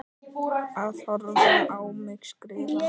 Það horfir á mig skrifa.